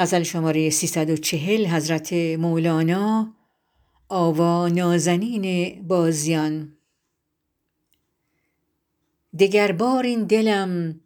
دگربار این دلم